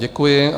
Děkuji.